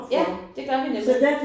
Ja det gør vi nemlig